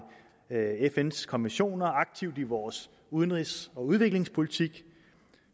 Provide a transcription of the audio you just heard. fns konventioner aktivt i vores udenrigs og udviklingspolitik